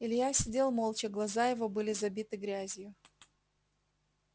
илья сидел молча глаза его были забиты грязью